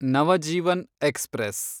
Navajeevan express